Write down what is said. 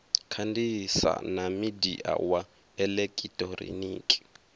kandisa na midia wa elekitoriniki